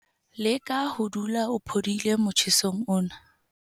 Leka ho dula o phodile motjhesong ona.